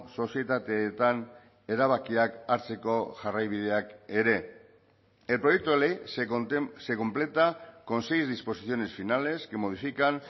sozietateetan erabakiak hartzeko jarraibideak ere el proyecto de ley se completa con seis disposiciones finales que modifican